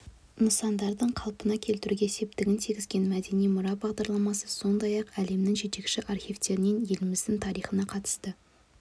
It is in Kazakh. нысандарды қалпына келтіруге септігін тигізген мәдени мұра бағдарламасы сондай-ақ әлемнің жетекші архивтерінен еліміздің тарихына қатысты